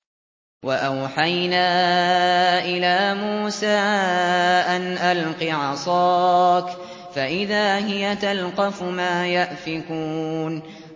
۞ وَأَوْحَيْنَا إِلَىٰ مُوسَىٰ أَنْ أَلْقِ عَصَاكَ ۖ فَإِذَا هِيَ تَلْقَفُ مَا يَأْفِكُونَ